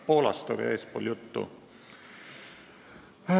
Poolast oli eespool juttu.